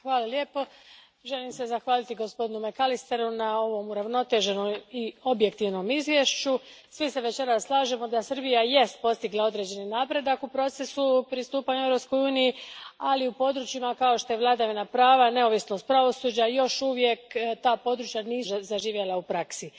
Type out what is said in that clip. Gospodine predsjedniče, želim se zahvaliti gospodinu McAllisteru na ovom uravnoteženom i objektivnom izvješću. Svi se večeras slažemo da Srbija jest postigla određeni napredak u procesu pristupanja Europskoj uniji, ali za područja kao što je vladavina prava, neovisnost pravosuđa, može se reći da još uvijek nisu zaživjela u praksi.